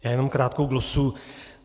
Já jenom krátkou glosu.